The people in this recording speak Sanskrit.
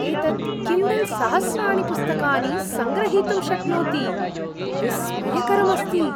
एतत् किण्डल् सहस्राणि पुस्तकानि सङ्ग्रहीतुं शक्नोति। विस्मयकरम् अस्ति!